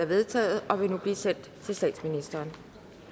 vedtaget og vil nu blive sendt til statsministeren